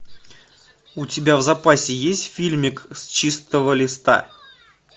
у тебя в запасе есть фильмик с чистого листа